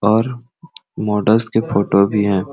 और मॉडल्स के फोटो भी है।